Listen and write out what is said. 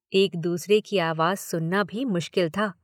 एक दूसरे की आवाज सुनना भी मुश्किल था।